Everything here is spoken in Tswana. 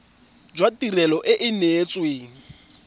jwa tirelo e e neetsweng